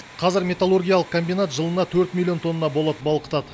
қазір металлургиялық комбинат жылына төрт миллион тонна болат балқытады